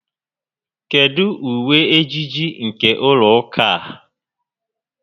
Kedu uwe ejiji nke ụlọ ụka a?